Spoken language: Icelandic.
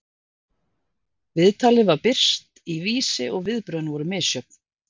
Viðtalið var birt í Vísi og viðbrögðin voru misjöfn.